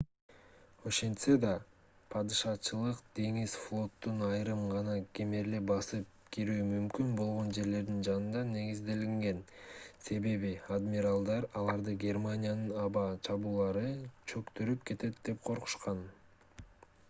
ошентсе да падышачылык деңиз флотунун айрым гана кемелери басып кирүү мүмкүн болгон жерлердин жанында негизделген себеби адмиралдар аларды германиянын аба чабуулдары чөктүрүп кетет деп коркушкан